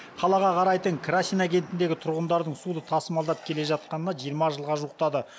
қалаға қарайтын красина кентіндегі тұрғындардың суды тасымалдап келе жатқанына жиырма жылға жуықтады